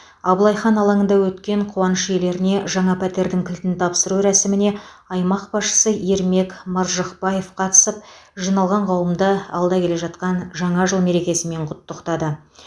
абылай хан алаңында өткен қуаныш иелеріне жаңа пәтердің кілтін тапсыру рәсіміне аймақ басшысы ермек маржықпаев қатысып жиналған қауымды алда келе жатқан жаңа жыл мерекесімен құттықтады